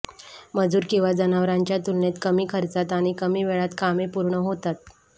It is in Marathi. मजुर किंवा जनावरांच्या तुलनेत कमी खर्चात आणि कमी वेळात कामे पूर्ण होतात